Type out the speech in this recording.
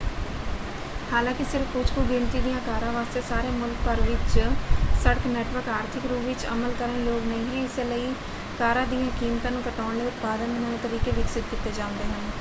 ਹਾਲਾਂਕਿ ਸਿਰਫ਼ ਕੁਝ ਕੁ ਗਿਣਤੀ ਦੀਆਂ ਕਾਰਾਂ ਵਾਸਤੇ ਸਾਰੇ ਮੁਲਕ ਭਰ ਵਿੱਚ ਸੜਕ ਨੈੱਟਵਰਕ ਆਰਥਿਕ ਰੂਪ ਵਿੱਚ ਅਮਲ ਕਰਨ ਯੋਗ ਨਹੀਂ ਹੈ ਇਸੇ ਲਈ ਕਾਰਾਂ ਦੀਆਂ ਕੀਮਤਾਂ ਨੂੰ ਘਟਾਉਣ ਲਈ ਉਤਪਾਦਨ ਦੇ ਨਵੇਂ ਤਰੀਕੇ ਵਿਕਸਤ ਕੀਤੇ ਜਾਂਦੇ ਹਨ।